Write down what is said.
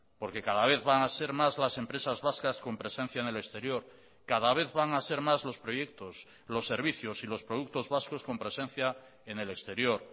porque cada vez van a ser más las empresas vascas con presencia en el exterior cada vez van a ser más los proyectos los servicios y los productos vascos con presencia en el exterior